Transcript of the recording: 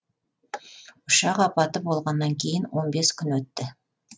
ұшақ апаты болғаннан кейін он бес күн өтті